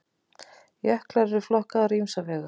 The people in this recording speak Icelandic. Jöklar eru flokkaðir á ýmsa vegu.